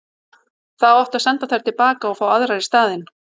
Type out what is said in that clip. Þá átti að senda þær til baka og fá aðrar í staðinn.